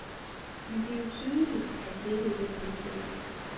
Men det er jo tydeligt, at dette ikke er tilfældet.